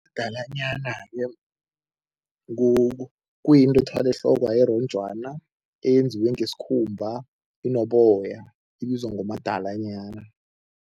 Umadalanyana ke kuyinto ethwalwa ehlokwa eronjwana eyenziwe ngesikhumba, inoboya, ibizwa ngomadalanyana.